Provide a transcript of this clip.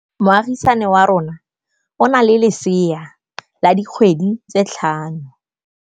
Moagisane wa rona o na le lesea la dikgwedi tse tlhano.